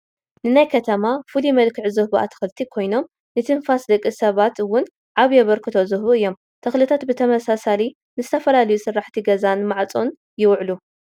ንናይ ከተማ ፍሉይ መልክዕ ዝህቡ ኣትክልቲ ኮይኖም ንትንፋስ ደቂ ሰባት ውን ዓብይ ኣበርክቶ ዝህቡ እዮም፡፡ ተኽልታት ብተወሳኺ ንዝተፈላለዩ ስራሕቲ ገዛን ማዕፆን ይውዕሉ፡፡